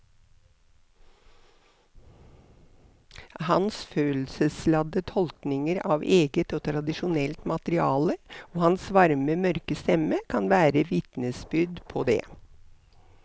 Hans følelsesladde tolkninger av eget og tradisjonelt materiale og hans varme mørke stemme kan være vitnesbyrd på det.